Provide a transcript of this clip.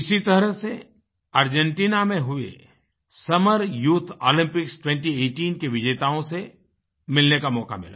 इसी तरह से अर्जेंटिना में हुई समर यूथ ओलम्पिक्स 2018 के विजेताओं से मिलने का मौका मिला